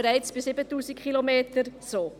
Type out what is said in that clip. Das freut mich besonders.